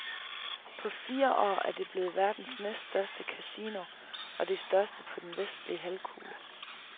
På fire år er det blevet verdens næststørste casino og det største på den vestlige halvkugle.